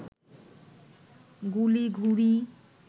গুলি, ঘুড়ি